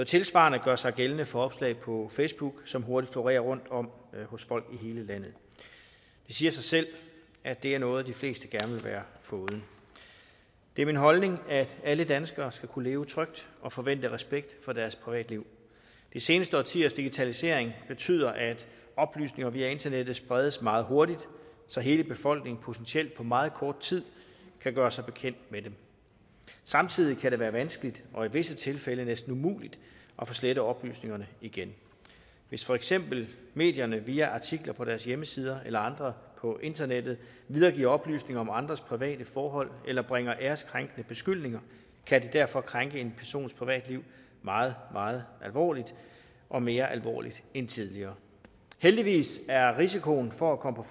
tilsvarende gør sig gældende for opslag på facebook som hurtigt florerer rundt om hos folk i hele landet det siger sig selv at det er noget de fleste gerne vil være foruden det er min holdning at alle danskere skal kunne leve trygt og forvente respekt for deres privatliv de seneste årtiers digitalisering betyder at oplysninger via internettet spredes meget hurtigt så hele befolkningen potentielt på meget kort tid kan gøre sig bekendt med dem samtidig kan det være vanskeligt og i visse tilfælde næsten umuligt at få slettet oplysningerne igen hvis for eksempel medierne via artikler på deres hjemmesider eller andre på internettet videregiver oplysninger om andres private forhold eller bringer æreskrænkende beskyldninger kan det derfor krænke en persons privatliv meget meget alvorligt og mere alvorligt end tidligere heldigvis er risikoen for at komme